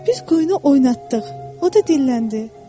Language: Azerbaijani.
Biz quyunu oynatdıq, o da dilləndi.